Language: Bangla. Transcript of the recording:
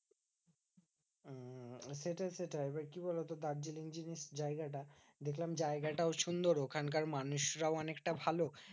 সেটাই সেটাই এবার কি বলতো? দার্জিলিং জিনিস জায়গাটা দেখলাম জায়গাটাও সুন্দর। ওখানকার মানুষরাও অনেকটা ভালো।